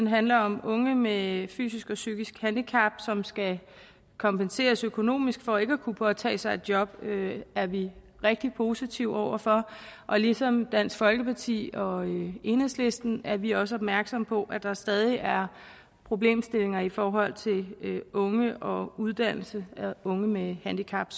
handler om unge med fysisk og psykisk handicap som skal kompenseres økonomisk for ikke at kunne påtage sig et job og det er vi rigtig positive over for ligesom dansk folkeparti og enhedslisten er vi også opmærksomme på at der stadig er problemstillinger i forhold til unge og uddannelse af unge med handicap